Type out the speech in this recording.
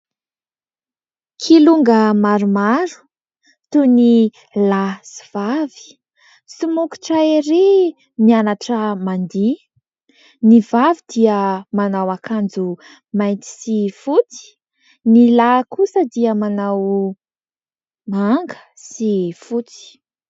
Kilonga maromaro toy ny : lahy sy vavy, somokotra ery mianatra mandiha. Ny vavy dia manao akanjo : mainty sy fotsy ; ny lahy kosa dia manao : manga sy fotsy.